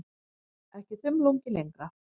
Ekki þumlungi lengra.